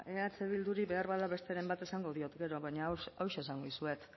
eh bilduri beharbada besteren bat esango diot gero baina hauxe esango dizuet